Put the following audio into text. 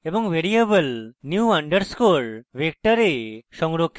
এবং variable new underscore vector এ সংরক্ষিত করে